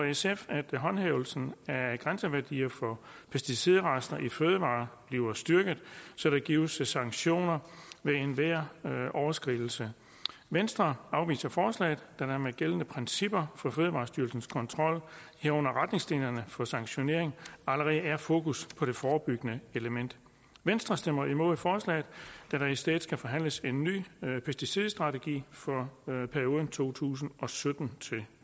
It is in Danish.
sf at håndhævelsen af grænseværdier for pesticidrester i fødevarer bliver styrket så der gives sanktioner ved enhver overskridelse venstre afviser forslaget da der med de gældende principper for fødevarestyrelsens kontrol herunder retningslinjerne for sanktionering allerede er fokus på det forebyggende element venstre stemmer imod forslaget da der i stedet skal forhandles en ny pesticidstrategi for perioden to tusind og sytten til